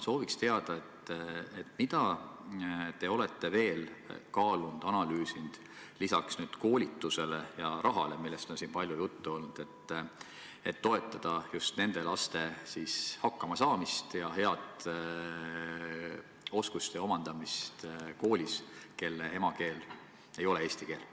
Sooviksin teada, mida te olete veel kaalunud kasutada lisaks koolitusele ja rahale, millest on siin palju juttu olnud, et toetada just nende laste hakkamasaamist, kelle emakeel ei ole eesti keel.